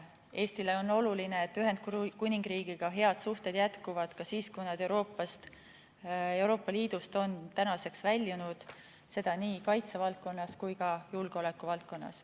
Eestile on oluline, et head suhted Ühendkuningriigiga jätkuvad ka nüüd, kui see riik on Euroopa Liidust väljunud, seda nii kaitsevaldkonnas kui ka julgeolekuvaldkonnas.